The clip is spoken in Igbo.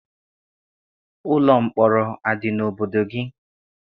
Ụlọ mkpọrọ a dị n'obodo gị?